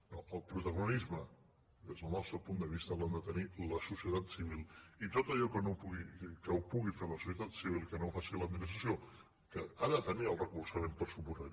no el protagonisme des del nostre punt de vista l’ha de tenir la societat civil i tot allò que pugui fer la societat civil que no ho faci l’administració que ha de tenir el suport per descomptat